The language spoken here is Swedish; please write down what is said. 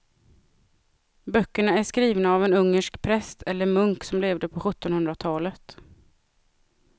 Böckerna är skrivna av en ungersk präst eller munk som levde på sjuttonhundratalet.